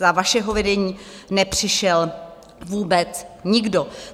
Za vašeho vedení nepřišel vůbec nikdo!